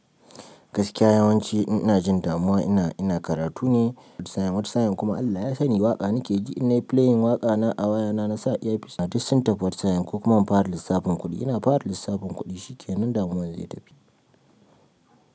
Gaskiya yawanci in ina jin damuwa ina, ina karatu ne. Wata sa'in wata sa'in kuma Allah ya sani waƙa nakeji in nayi playing waƙana a wayana nasa earpiece duk sun tafi wata sa'in ko kuma in fara lissafin kuɗi ina fara lissafin kuɗi shikenan damuwara zai tafi.